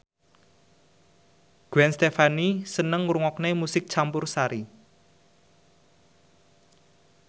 Gwen Stefani seneng ngrungokne musik campursari